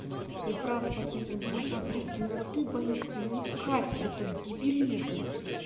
и фразы по типу но она блядь темноты боится не катит этот дебилизм